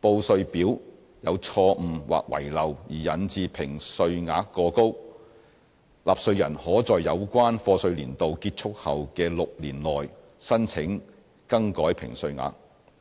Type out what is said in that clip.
報稅表有錯誤或遺漏而引致評稅額過高，納稅人可在有關課稅年度結束後的6年內申請更改評稅額。